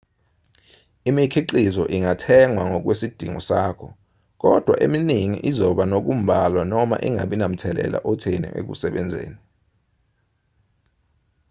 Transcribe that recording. imikhiqizo ingathengwa ngokwesidingo sakho kodwa eminingi izoba nokumbalwa noma ingabi namthelela otheni ekusebenzeni